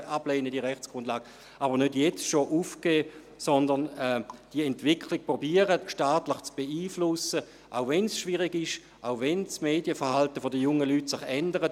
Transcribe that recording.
Man sollte aber nicht schon jetzt aufgeben, sondern die Entwicklung staatlich zu beeinflussen versuchen, auch wenn es schwierig ist, auch wenn sich das Medienverhalten der jungen Leute ändert.